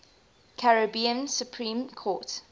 caribbean supreme court